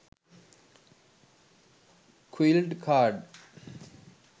quilled card